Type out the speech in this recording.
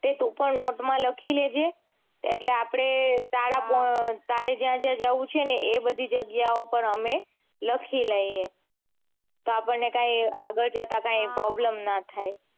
તે તું પણ નોટ માં લખી દેજે એટલે આપડે તારે જ્યાં જ્યાં જાઉં છે એ બધી જગ્યાઓ પણ અમે લખી લઈએ તો આપણને કાંઈ આગળ જતા પ્રોબ્લેમ ના થાય